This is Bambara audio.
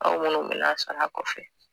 Aw minnu bɛ lasara kɔfɛ